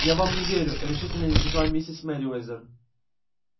я вам не верю решительно изрекла миссис мерриуэзер